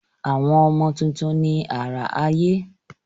Àwọn ọmọ tuntun ni àrà ayé.